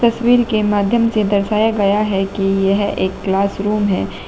तस्वीर के माध्यम से दर्शाया गया है कि यह एक क्लास रूम है।